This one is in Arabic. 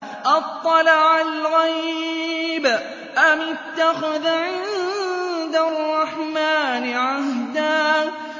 أَطَّلَعَ الْغَيْبَ أَمِ اتَّخَذَ عِندَ الرَّحْمَٰنِ عَهْدًا